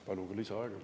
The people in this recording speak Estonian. Palun ka lisaaega.